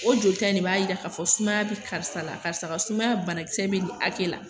O jolita ne b'a yira k'a fɔ sumaya bi karisa la karisa karisa ka sumaya banakisɛ be nin akɛ la